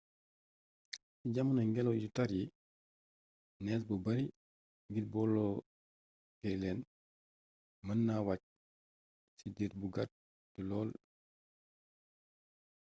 ci jamanoy ngélaw yu tàr yi nees bu bari ngir boloké leen mën naa wacc ci diir bu gàtt lool